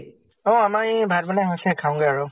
অ আমাৰ এই ভাত বনাই হৈছে, খাওগে আৰু।